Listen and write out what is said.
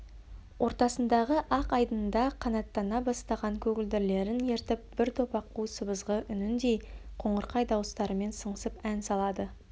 ортасындағы ақ айдында қанаттана бастаған көгілдірлерін ертіп бір топ аққу сыбызғы үніндей қоңырқай дауыстарымен сыңсып ән салады